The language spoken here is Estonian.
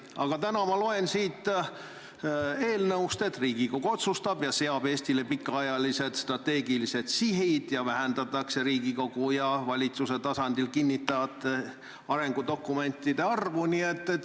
Aga täna ma loen siit eelnõust, et Riigikogu otsustab ja seab Eestile pikaajalised strateegilised sihid ning vähendatakse Riigikogu ja valitsuse tasandil kinnitatavate arengudokumentide arvu.